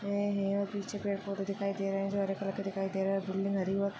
ये है और पिछे पेड पौधे दिखाई दे रहे है जो हरे कलर का दिखाई दे रहा है बिल्डिंग हरी औ --